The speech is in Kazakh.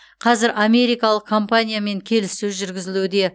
қазір америкалық компаниямен келіссөз жүргізілуде